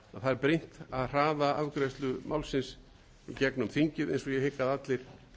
að það brýnt að hraða afgreiðslu málsins í gegnum þingið eins og ég hygg að allir